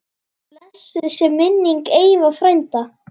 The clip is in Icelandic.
Blessuð sé minning Eyva frænda.